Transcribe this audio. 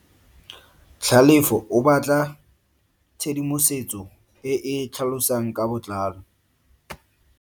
Tlhalefo o batla tshedimosetso e e tlhalosang ka botlalo.